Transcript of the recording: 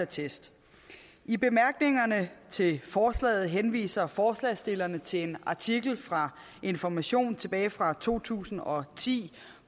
test i bemærkningerne til forslaget henviser forslagsstillerne til en artikel i information tilbage fra to tusind og ti